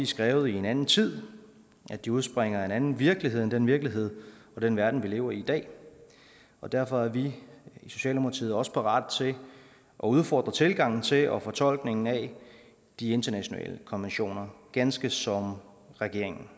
skrevet i en anden tid at de udspringer af en anden virkelighed end den virkelighed og den verden vi lever i i dag og derfor er vi i socialdemokratiet også parat til at udfordre tilgangen til og fortolkningen af de internationale konventioner ganske som regeringen